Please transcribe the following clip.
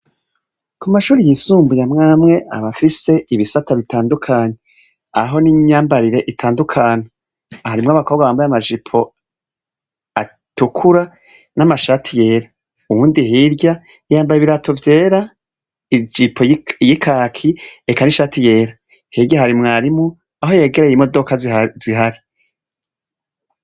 Ku mashuri yisumbuye mwamwe abafise ibisata bitandukanya aho n'inyambarire itandukana aharimwo abakobwa bambaye amajipo atukura n'amashati yera uwundi hirya iyambaye ibirato vyera ijipo y'ikaki eka n'ishati yera hirya harimwarimwo aho yegereye imodoka zihari.